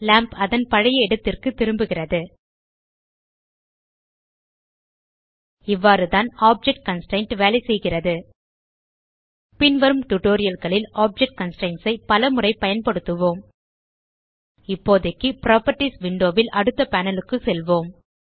lamp அதன் பழைய இடத்திற்கு திரும்புகிறது இவ்வாறுதான் ஆப்ஜெக்ட் கன்ஸ்ட்ரெயின்ட் வேலைசெய்கிறது பின்வரும் டியூட்டோரியல் களில் ஆப்ஜெக்ட் கன்ஸ்ட்ரெயின்ட்ஸ் ஐ பலமுறை பயன்படுத்துவோம் இப்போதைக்கு புராப்பர்ட்டீஸ் விண்டோ ல் அடுத்த பேனல் க்கு செல்வோம்